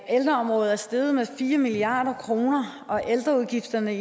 ældreområdet er steget med fire milliard kr og ældreudgifterne